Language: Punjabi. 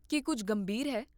ਕੀ ਕੁੱਝ ਗੰਭੀਰ ਹੈ?